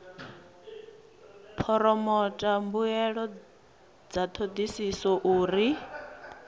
phoromotha mbuelo dza thodisiso uri